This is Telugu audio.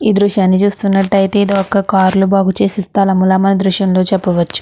దృశ్యాన్ని చూస్తున్నటైతే ఇది ఒక కార్లు బాగు చేసే స్థలం ల మనం ఈ దృశ్యం లో చెప్పవచు.